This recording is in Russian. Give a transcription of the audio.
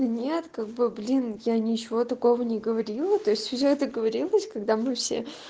нет как бы блин я ничего такого не говорила то есть уже договорилась когда мы все